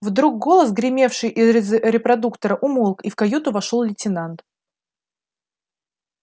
вдруг голос гремевший из репродуктора умолк и в каюту вошёл лейтенант